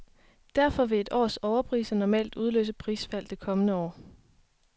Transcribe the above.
Derfor vil et års overpriser normalt udløse prisfald det kommende år.